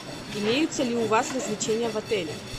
имеются ли у вас развлечения в отеле